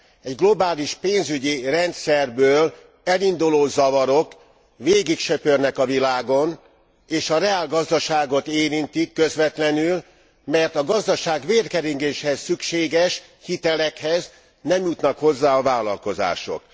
A globális pénzügyi rendszerből elinduló zavarok végigsöpörnek a világon és a reálgazdaságot érintik közvetlenül, mert a gazdaság vérkeringéséhez szükséges hitelekhez nem jutnak hozzá a vállalkozások.